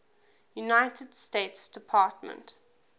united states department